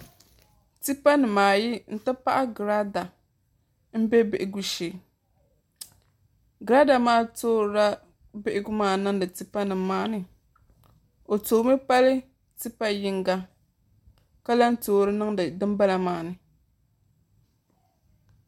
Tipa nimaayi n ti pahi girada n bɛ bihigu shee girada maa toorila bihigu maa niŋdi tipa nim maa ni o toomi pali tipa yinga ka toori niŋdi dinbala maa ni